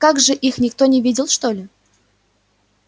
как же их никто не видел что ли